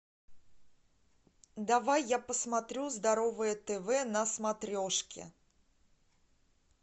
давай я посмотрю здоровое тв на смотрешке